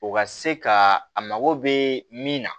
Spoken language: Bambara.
O ka se ka a mago bɛ min na